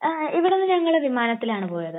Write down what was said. ഇവിടെന്ന് ഞങ്ങൾ വിമാനത്തിലാണ് പോയത്.